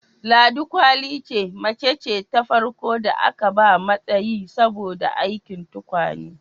Ladi kwali ce macce ta farko da aka ba matsayi saboda aikin tukwane